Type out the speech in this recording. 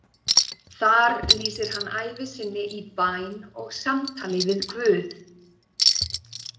Þar lýsir hann ævi sinni í bæn og samtali við Guð.